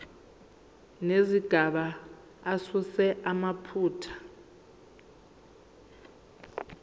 nezigaba asuse amaphutha